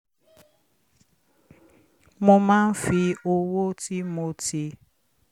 mo máa ń fi owó tí mo ti